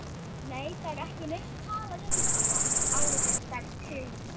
Nei, það er ekki neitt talað um þetta, áréttar Sigrún.